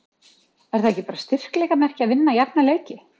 Er það ekki bara styrkleikamerki að vinna jafna leiki?